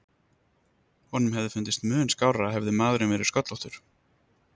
Honum hefði fundist mun skárra hefði maðurinn verið sköllóttur.